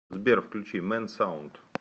сбер включи мэнсаунд